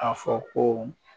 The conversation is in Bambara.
A fɔ ko